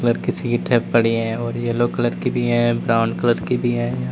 किसी की ट्रक खड़ी है और येलो कलर की भी है ब्राउन कलर की भी है।